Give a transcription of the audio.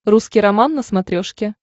русский роман на смотрешке